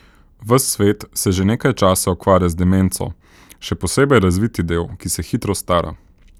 Ves svet se že nekaj časa ukvarja z demenco, še posebej razviti del, ki se hitro stara.